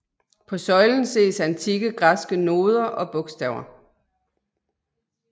På søjlen ses antikke græske noder og bogstaver